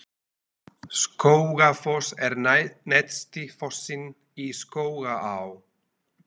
Skógafoss er neðsti fossinn í Skógaá.